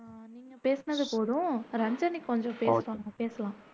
நீங்க சொன்னது போதும் ரஞ்சனி கொஞ்சம் பேசணும் பேசுவாங்க